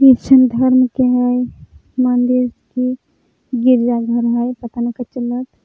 Christian धर्म के हई मन्दिर की गिरजाघर हई पता नखई चलत --